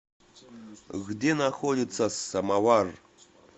где находится самоваръ